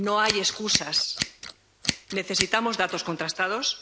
No hay excusas necesitamos datos contrastados.